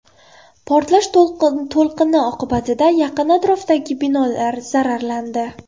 Portlash to‘lqini oqibatida yaqin atrofdagi binolar zararlandi.